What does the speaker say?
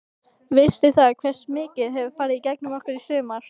Veistu það, hversu mikið hefur farið gegn okkur í sumar?